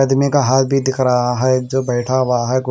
आदमी का हाथ भी दिख रहा है जो बैठा हुआ है .